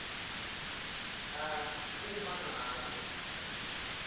a uma ngabe